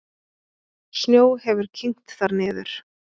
Snjó hefur kyngt þar niður.